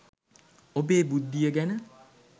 ඔබේ බුද්ධිය ගැන